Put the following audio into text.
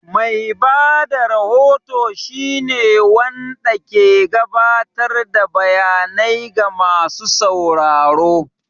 Mai ba da rahoto shine wanɗa ke gaɓatar da bayanai ga masu sauraro.